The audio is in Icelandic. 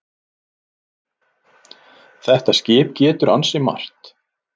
Þetta skip getur ansi margt.